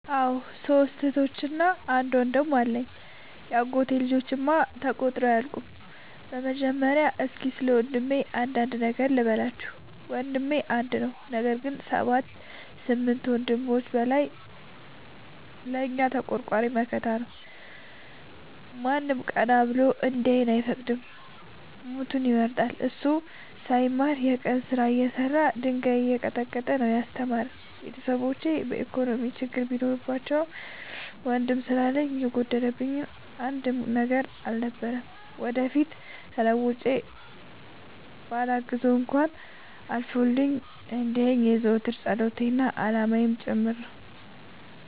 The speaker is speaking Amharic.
አዎ ሶስት እህቶች አንድ ወንድም አለኝ የአጎቴ ልጆች እማ ተቆጥረው አያልቁም። በመጀመሪያ እስኪ ስለወንድሜ አንዳንድ ነገር ልበላችሁ። ወንድሜ አንድ ነው ነገር ግን አሰባት ከስምንት ወንድሞች በላይ ለእኛ ተቆርቋሪ መከታ ነው። ማንም ቀና ብሎ እንዲያየን አይፈቅድም ሞቱን ይመርጣል። እሱ ሳይማር የቀን ስራ እየሰራ ድንጋይ እየቀጠቀጠ ነው። ያስተማረን ቤተሰቦቼ የኢኮኖሚ ችግር ቢኖርባቸውም ወንድም ስላለኝ የጎደለብኝ አንድም ነገር አልነበረም። ወደፊት ተለውጬ በላግዘው እንኳን አልፎልኝ እንዲየኝ የዘወትር ፀሎቴ አላማዬም ጭምር ነው።